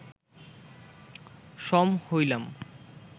সম হইলাম